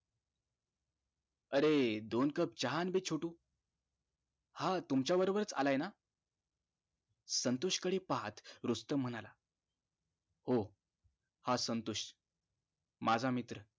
अरे दोन cup चहा आण बे छोटू हा तुमच्या बरोबरच आलाय ना संतोष कडे पाहत रुस्तम म्हणाला हो हा संतोष माझा मित्र